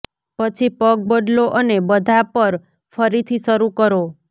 પછી પગ બદલો અને બધા પર ફરીથી શરૂ કરો